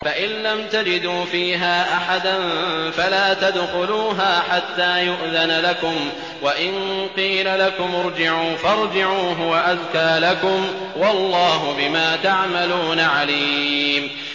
فَإِن لَّمْ تَجِدُوا فِيهَا أَحَدًا فَلَا تَدْخُلُوهَا حَتَّىٰ يُؤْذَنَ لَكُمْ ۖ وَإِن قِيلَ لَكُمُ ارْجِعُوا فَارْجِعُوا ۖ هُوَ أَزْكَىٰ لَكُمْ ۚ وَاللَّهُ بِمَا تَعْمَلُونَ عَلِيمٌ